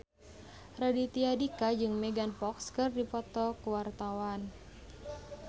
Raditya Dika jeung Megan Fox keur dipoto ku wartawan